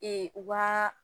u ka